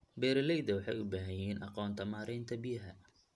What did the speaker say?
Beeralayda waxay u baahan yihiin aqoonta maaraynta biyaha.